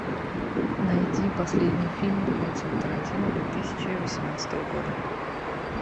найди последний фильм квентина тарантино две тысячи восемнадцатого года